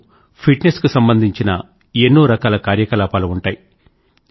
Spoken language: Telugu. ఇందులో ఫిట్ నెస్ కు సంబంధించిన ఎన్నో రకాల కార్యకలాపాలు ఉంటాయి